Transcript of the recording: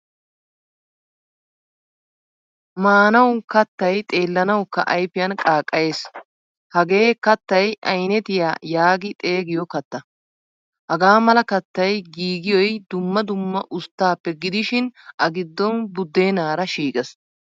Maanawu kaattay xeellanawukka ayfiyan qaaqqayees. Hagee kattay aynettiyaa yaagi xeegiyo katta. Hagamala kattay giigiyoy dumma dumma usttappe gidishin a giddon buddennara shiiqqees.